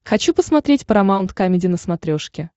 хочу посмотреть парамаунт камеди на смотрешке